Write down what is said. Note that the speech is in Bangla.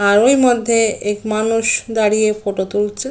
আর ঐমধ্যে এক মানুষ দাঁড়িয়ে ফটো তুলছে।